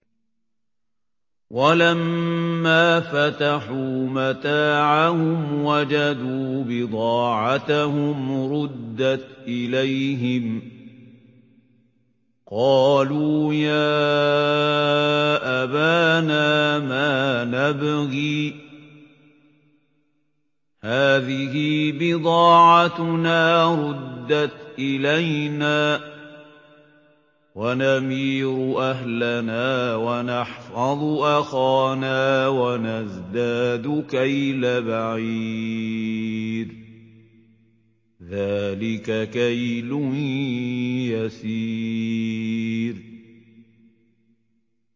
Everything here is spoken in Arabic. وَلَمَّا فَتَحُوا مَتَاعَهُمْ وَجَدُوا بِضَاعَتَهُمْ رُدَّتْ إِلَيْهِمْ ۖ قَالُوا يَا أَبَانَا مَا نَبْغِي ۖ هَٰذِهِ بِضَاعَتُنَا رُدَّتْ إِلَيْنَا ۖ وَنَمِيرُ أَهْلَنَا وَنَحْفَظُ أَخَانَا وَنَزْدَادُ كَيْلَ بَعِيرٍ ۖ ذَٰلِكَ كَيْلٌ يَسِيرٌ